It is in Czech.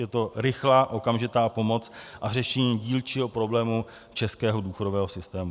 Je to rychlá okamžitá pomoc a řešení dílčího problému českého důchodového systému.